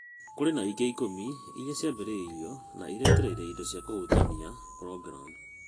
Kũrĩ na ingĩ ikũmi iria ciambĩrĩirio na nĩ iretereire indo cia kũhutania programu.